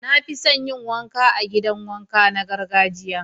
Na fi son yin wanka a'gidan wanka na gargajiya.